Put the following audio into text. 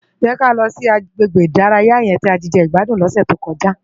Jè ká lò si àgbégbé idàráyá yèn ti á ti jegbádún lòsè tókòjá